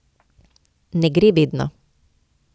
Ne gre vedno.